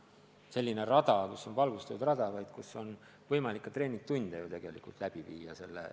Need peaks olema valgustatud rajad, kus on võimalik ka treeningtunde läbi viia.